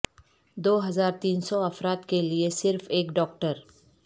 دو ہزار تین سو افراد کے لئے صرف ایک ڈاکٹر